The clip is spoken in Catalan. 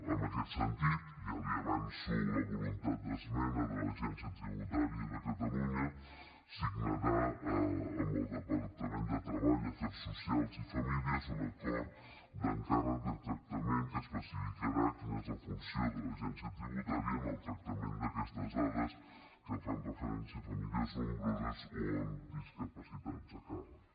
en aquest sentit ja li avanço la voluntat d’esmena de l’agència tributària de catalunya signarà amb el departament de treball afers socials i famílies un acord d’encàrrec de tractament que especificarà quina és la funció de l’agència tributària en el tractament d’aquestes dades que fan referència a famílies nombroses o amb discapacitats a càrrec